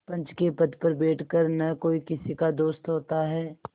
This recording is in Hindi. पंच के पद पर बैठ कर न कोई किसी का दोस्त होता है